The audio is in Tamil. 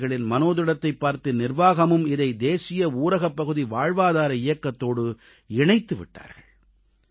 விவசாயிகளின் மனோதிடத்தைப் பார்த்து நிர்வாகமும் இதை தேசிய ஊரகப்பகுதி வாழ்வாதார இயக்கத்தோடு இணைத்து விட்டார்கள்